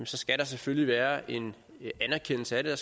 så skal der selvfølgelig være en anerkendelse af det